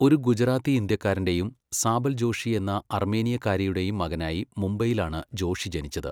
ഒരു ഗുജറാത്തി ഇന്ത്യക്കാരന്റെയും സാബൽ ജോഷി എന്ന അർമേനിയക്കാരിയുടെയും മകനായി മുംബൈയിലാണ് ജോഷി ജനിച്ചത്.